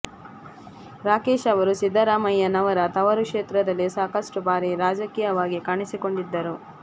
ರಾಕೇಶ್ ಅವರು ಸಿದ್ದರಾಮಯ್ಯನವರ ತವರು ಕ್ಷೇತ್ರದಲ್ಲಿ ಸಾಕಷ್ಟು ಬಾರಿ ರಾಜಕೀಯವಾಗಿ ಕಾಣಿಸಿಕೊಂಡಿದ್ದವರು